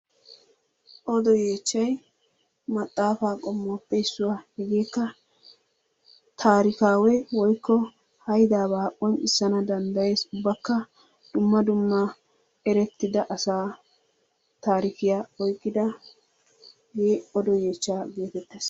Odo yeechchay maxaafa qommuwappe issuwa. Hegekka taarikawe woykko haydaaba qonccissana danddayyees. Ubbakka dumma dumma eretidda asaa taarikiya oyqqidaagee odo yeechchaa geetettees.